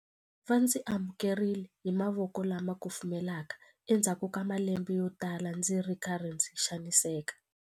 Va ndzi amukerile hi mavoko lama kufumelaka endzhaku ka malembe yotala ndzi ri karhi ndzi xaniseka.